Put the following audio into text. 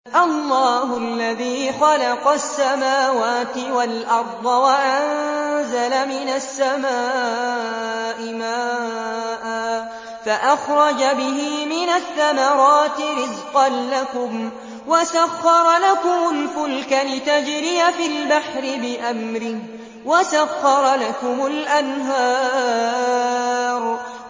اللَّهُ الَّذِي خَلَقَ السَّمَاوَاتِ وَالْأَرْضَ وَأَنزَلَ مِنَ السَّمَاءِ مَاءً فَأَخْرَجَ بِهِ مِنَ الثَّمَرَاتِ رِزْقًا لَّكُمْ ۖ وَسَخَّرَ لَكُمُ الْفُلْكَ لِتَجْرِيَ فِي الْبَحْرِ بِأَمْرِهِ ۖ وَسَخَّرَ لَكُمُ الْأَنْهَارَ